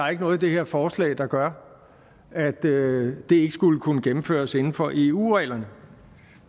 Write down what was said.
er noget i det her forslag der gør at det det ikke skulle kunne gennemføres inden for eu reglerne